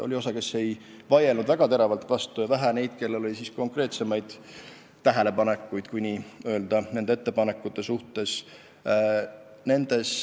Oli osa, kes ei vaielnud väga teravalt vastu, ja vähe neid, kellel oli konkreetsemaid tähelepanekuid meie ettepanekute kohta.